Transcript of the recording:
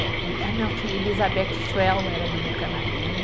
Eh e, ah, não, tinha Elizabeth Swell, era do meu camarim.